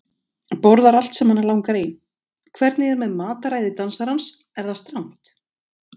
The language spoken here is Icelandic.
Borðar allt sem hana langar í Hvernig er með mataræði dansarans, er það strangt?